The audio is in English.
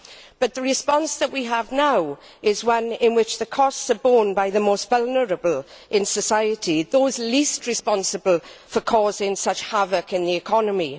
But the response that we have now is one in which the costs are borne by the most vulnerable in society, those least responsible for causing such havoc in the economy.